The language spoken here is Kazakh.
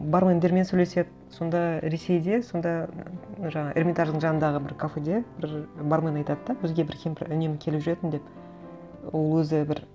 бармендермен сөйлеседі сонда ресейде сонда жаңа эрмитаждың жанындағы бір кафеде бір бармен айтады да бізге бір кемпір үнемі келіп жүретін деп ол өзі бір